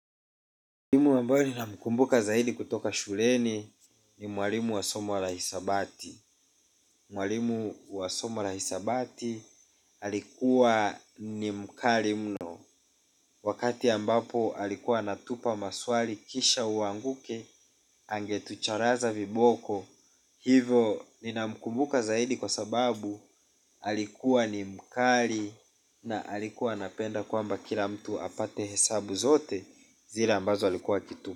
Mwalimu ambayo ninamkumbuka zaidi kutoka shuleni ni mwalimu wa somo la hisabati. Mwalimu wa somo la hisabati alikuwa ni mkali mno. Wakati ambapo alikuwa anatupa maswali kisha uanguke angetucharaza viboko. Hivo ninamkumbuka zaidi kwa sababu alikuwa ni mkali na alikuwa anapenda kwamba kila mtu apate hesabu zote zile ambazo alikuwa akitu.